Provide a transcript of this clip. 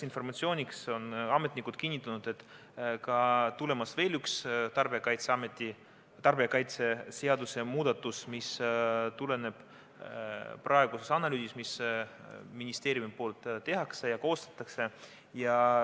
Informatsiooniks on ametnikud kinnitanud, et on tulemas veel üks tarbijakaitseseaduse muudatus, mis tuleneb analüüsist, mida ministeeriumis tehakse ja koostatakse.